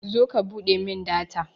zo ka buɗe min data